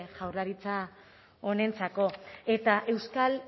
jaurlaritza honentzako eta euskal